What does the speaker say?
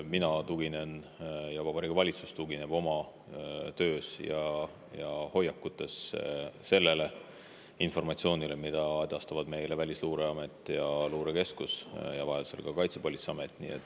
Mina tuginen ja Vabariigi Valitsus tugineb oma töös ja hoiakutes sellele informatsioonile, mida edastavad meile Välisluureamet ja luurekeskus ning vajaduse korral ka Kaitsepolitseiamet.